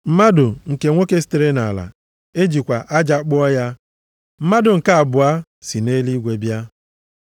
Mmadụ nke nwoke sitere nʼala, ejikwa aja kpụọ ya; mmadụ nke abụọ si nʼeluigwe bịa.